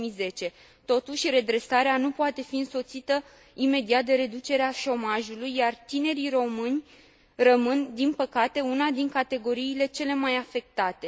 2010. Totuși, redresarea nu poate fi însoțită imediat de reducerea șomajului, iar tinerii români rămân, din păcate, una din categoriile cele mai afectate.